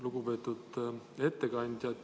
Lugupeetud ettekandja!